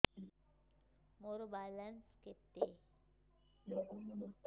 ମୋର ବାଲାନ୍ସ କେତେ